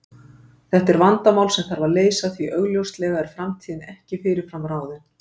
Þetta er vandamál sem þarf að leysa því augljóslega er framtíðin ekki fyrirfram ráðin.